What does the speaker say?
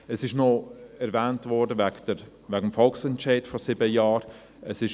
Es wurde noch der Volksentscheid von vor sieben Jahren erwähnt.